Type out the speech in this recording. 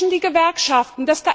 Sie schwächen die Gewerkschaften.